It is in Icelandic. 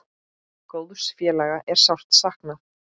Góðs félaga er sárt saknað.